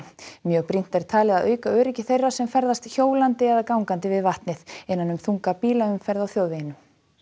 mjög brýnt er talið að auka öryggi þeirra sem ferðast hjólandi eða gangandi við vatnið innan um þunga bílaumferð á þjóðveginum